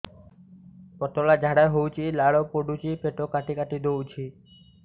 ପତଳା ଝାଡା ହଉଛି ଲାଳ ପଡୁଛି ପେଟ କାଟି କାଟି ଦଉଚି